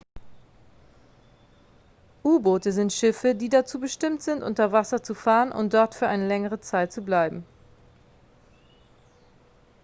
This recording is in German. u-boote sind schiffe die dazu bestimmt sind unter wasser zu fahren und dort für eine längere zeit zu bleiben